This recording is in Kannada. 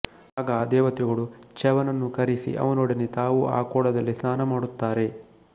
ಆಗ ಆ ದೇವತೆಗಳು ಚ್ಯವನನ್ನು ಕರಿಸಿ ಅವನೊಡನೆ ತಾವೂ ಆ ಕೊಳದಲ್ಲಿ ಸ್ನಾನ ಮಾಡುತ್ತಾರೆ